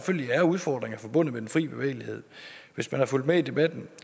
er udfordringer forbundet med den fri bevægelighed hvis man har fulgt med i debatten